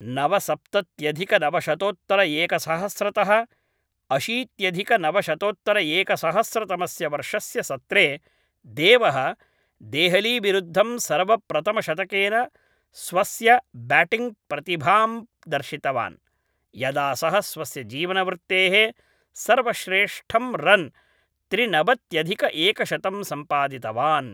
नवसप्तत्यधिकनवशतोत्तरएकसहस्रतः अशीत्यधिकनवशतोत्तरएकसहस्रतमस्य वर्षस्य सत्रे देवः देहलीविरुद्धं सर्वप्रथमशतकेन स्वस्य ब्याटिङ्ग् प्रतिभां दर्शितवान्, यदा सः स्वस्य जीवनवृत्तेः सर्वश्रेष्ठं रन् त्रिनवत्यधिकएकशतं सम्पादितवान्